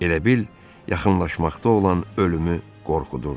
Elə bil yaxınlaşmaqda olan ölümü qorxudurdu.